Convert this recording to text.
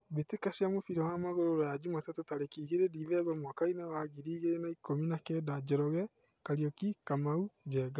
Mbĩtĩka cia mũbira wa magũrũ Ruraya Jumatatũ tarĩki igĩrĩ Dithemba mwakainĩ wa ngiri igĩrĩ na ikũmi na kenda: Njoroge, Kariuki, Kamau, Njenga.